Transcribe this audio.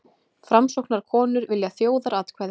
Framsóknarkonur vilja þjóðaratkvæði